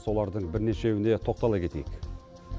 солардың бірнешеуіне тоқтала кетейік